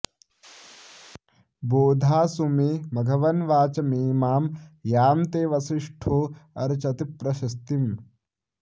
बोधा सु मे मघवन्वाचमेमां यां ते वसिष्ठो अर्चति प्रशस्तिम्